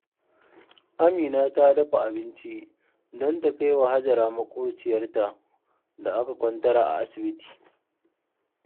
Amina ta dafa abinci don ta kai wa Hajara maƙwabciyarta da aka kwantar a asibiti